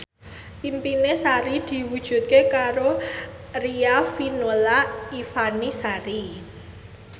impine Sari diwujudke karo Riafinola Ifani Sari